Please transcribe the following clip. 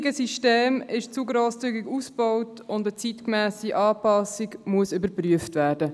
Das heutige System ist zu grosszügig ausgebaut, und eine zeitgemässe Anpassung muss geprüft werden.